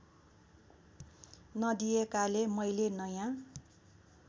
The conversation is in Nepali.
नदिएकाले मैले नयाँ